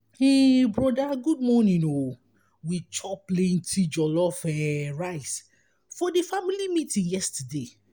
um broda good morning o o we chop plenty jollof um rice for di family meeting yesterday.